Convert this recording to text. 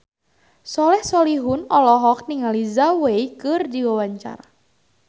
Soleh Solihun olohok ningali Zhao Wei keur diwawancara